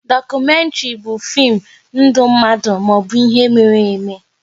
Dokumentri bụ fim ndụ mmadụ maọbụ ihe mere eme